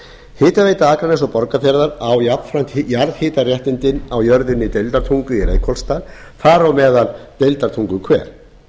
hitaveita akraness og borgarfjarðar á jafnframt jarðhitaréttindi á jörðinni deildartungu í reykholtsdal þar á meðal deildartunguhver